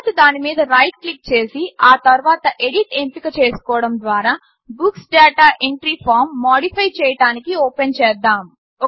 తర్వాత దాని మీద రైట్ క్లిక్ చేసి ఆ తర్వాత ఎడిట్ ఎంపిక చేసుకోవడం ద్వారా books data entry form modify చేయడానికి ఓపెన్ చేద్దాము